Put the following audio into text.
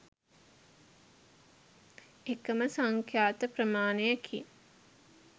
එකම සංඛ්‍යාත ප්‍රමාණයකින්